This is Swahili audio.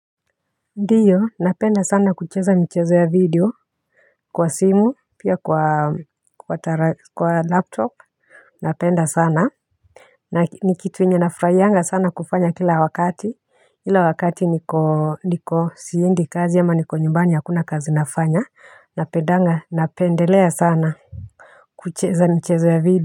Ndiyo napenda sana kucheza michezo ya video kwa simu pia kwa laptop napenda sana na ni kitu yenye nafurahianga sana kufanya kila wakati, ile wakati niko niko siendi kazi ama niko nyumbani hakuna kazi nafanya napedanga napendelea sana kucheza michezo ya video.